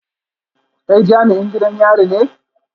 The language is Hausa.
Kai jami'in gidan yari ne?